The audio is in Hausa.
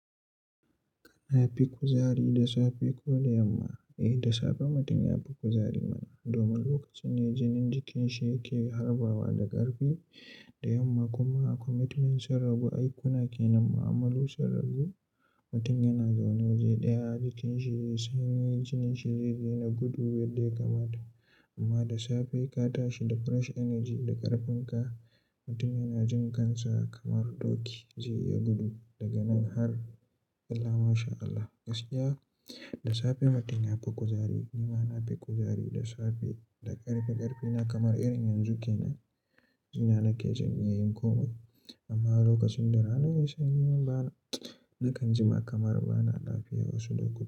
Kana fi kuzari da safe ko da yamma? Eh da safe mutum yafi kuzari man, domin lokacin ne jinin jikin shi yake harba wa da ƙarfi. Da yamma kuma commitment sun ragu, aikuna ke nan, mu'amalu sun ragu. Mutum yana zaune waje ɗaya, jikin shi zai sanyi, jinin shi zai daina gudu yadda ya kamata. Amma da safe ka tashi da fresh energy da ƙarfin ka, mutum yana jin kansa kamar doki, zai iya gudu daga nan har, illah masha Allah gaskiya. Da safe mutum yafi kuzari, ni ma na fi kuzari da safe. Da ƙarfi-ƙarfi na kamar irin yanzu ke nan, jina nake zan iya yin komai. Amma lokacin dare na sanyi man bana, nakan jima kamar bana lafiya wasu lokuta.